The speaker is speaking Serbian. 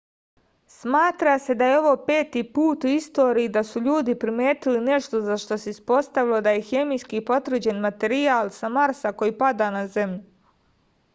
smatra se da je ovo peti put u istoriji da su ljudi primetili nešto za šta se ispostavilo da je hemijski potvrđen materijal sa marsa koji pada na zemlju